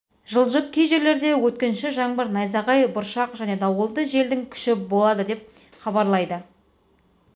жылжып кей жерлерде өткінші жаңбыр найзағай бұршақ және дауылды желдің күші болады деп хабарлайды